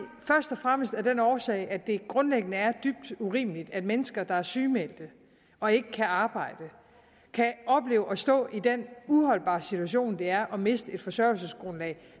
fremmest af den årsag at det grundlæggende er dybt urimeligt at mennesker der er sygemeldte og ikke kan arbejde kan opleve at stå i den uholdbare situation det er at miste et forsørgelsesgrundlag